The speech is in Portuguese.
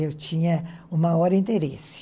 Eu tinha o maior interesse.